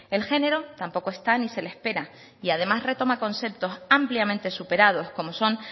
el género tampoco está ni se le espera y además retoma conceptos ampliamente superados como son